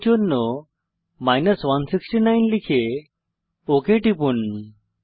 i এর জন্য 169 লিখে ওক টিপুন